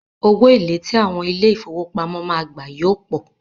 Owó èlé tí àwọn ilé ìfowópamọ́ máa gbà yóò pọ̀.